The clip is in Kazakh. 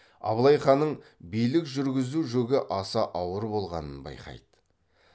абылай ханның билік жүргізу жүгі аса ауыр болғанын байқайды